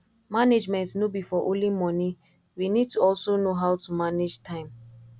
management no be for only money we need to also know how to manage time